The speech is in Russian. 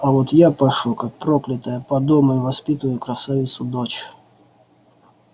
а вот я пашу как проклятая по дому и воспитываю красавицу дочь